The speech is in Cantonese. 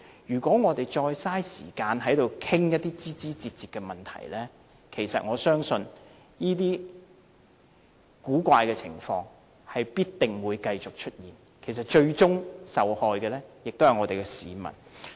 如果我們再浪費時間在此討論枝枝節節的問題，其實我相信這些奇怪的情況必定會繼續出現，最終受害的也是我們的市民。